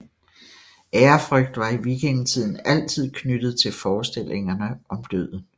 Ærefrygt var i vikingetiden altid knyttet til forestillingerne om døden